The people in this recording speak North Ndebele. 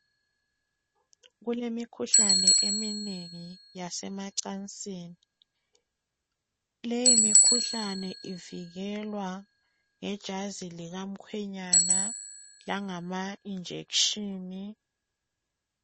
Kulemikhuhlane eminengi yasemacansini. Leyi mikhuhlane ivikelwa ngejazi likamkhwenyana langamainjection.